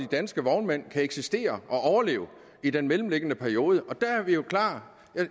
danske vognmænd kan eksistere og overleve i den mellemliggende periode